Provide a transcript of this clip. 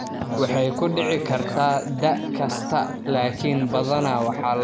Waxay ku dhici kartaa da' kasta laakiin badanaa waxaa lagu arkaa dumarka ka weyn kontan sano.